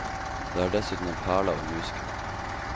Det er dessuten en perle av en musical.